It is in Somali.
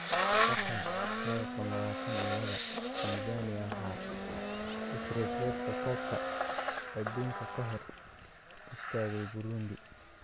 Qatar 2022: Tanzania waxaa isreebreebka Koobka Adduunka ka hor istaagay Burundi